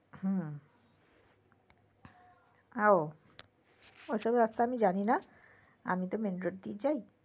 হম উম ও সব রাস্তা আমি জানি না আমি তো main road দিয়ে যাই